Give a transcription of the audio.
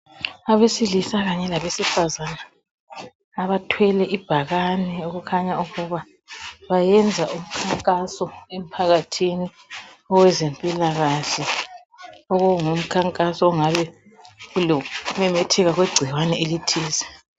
abesilisa kanye labesifazane abathwele ibhakane okukhanya ukuba bayenza umkhankaso emphakathini owabezempilakahle okungumkhankaso ongabe kulokumemetheka kwegcikwane elithize